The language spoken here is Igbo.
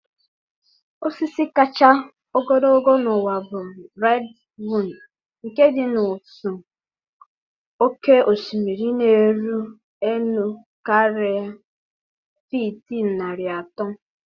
Osisi kachasị ogologo n'ụwa bụ redwood nke dị n'ụsọ oké osimiri, na-eru elu karịa fiiti narị atọ.